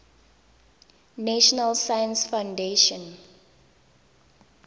national science foundation